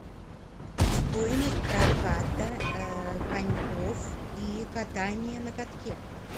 стоимость проката коньков и катание на катке